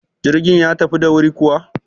Jirgin ya tafi da wuri kuwa?